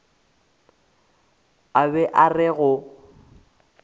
o be a re go